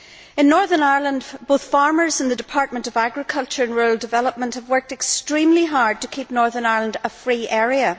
In Northern Ireland, both farmers and the Department of Agriculture and Rural Development have worked extremely hard to keep Northern Ireland a free area.